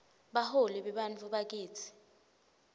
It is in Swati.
baholi bebantfu bakitsi